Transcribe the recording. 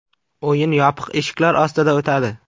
O‘yin yopiq eshiklar ostida o‘tadi.